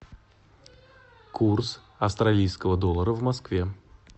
курс австралийского доллара в москве